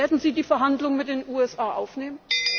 tun? Werden Sie die Verhandlungen mit den USA aufnehmen?